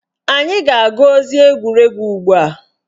Anyị ga-agụ ozi egwuregwu ugbua